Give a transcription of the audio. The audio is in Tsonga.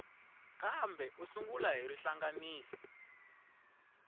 kambe u sungula hi rihlanganisi